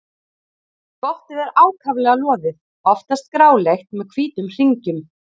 Skottið er ákaflega loðið, oftast gráleitt með hvítum hringjum.